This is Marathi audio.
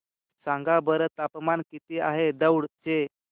सांगा बरं तापमान किती आहे दौंड चे